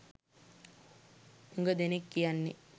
හුඟ දෙනෙක් කියන්නේ.